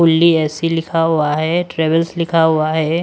Only A C लिखा हुआ है ट्रेवल्स लिखा हुआ है।